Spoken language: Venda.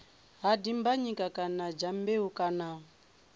ha dimbanyika kana dyambeu kana